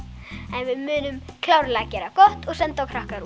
en við munum klárlega gera gott og senda á